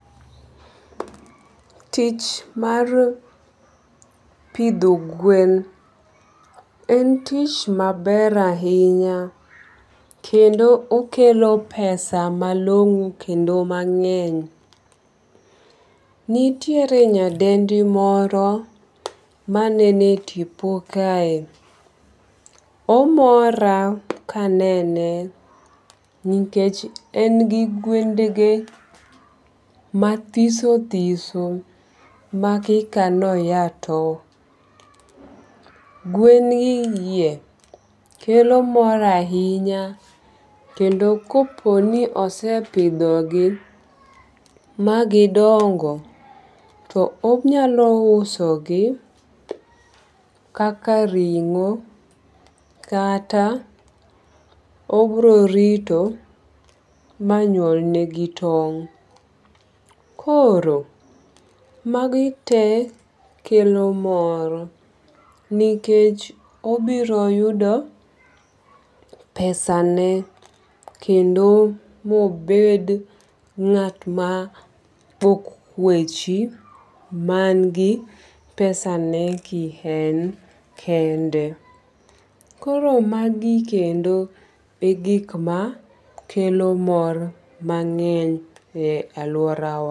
Tich mar pidho gwen en tich maber ahinya. Kendo okelo pesa malong'o kendo mang'eny. Nitiere nyadendi moro manene tipo kae. Omora kanene nikech en gi gwend ge mathiso thiso makika noya to. Gwen gie kelo mor ahinya kendo kopo ni osepidho gi magidongo to onyalo uso gi kaka ring'o kata obiro rito manyuol negi tong'. Koro magi te kelo mor nikech obiro yudo pesa ne kendo mobed ng'at ma ok tho kwechi man gi pesa ne ki en kende. Koro magi kendo e gik makelo mor mang'eny e aluora wa.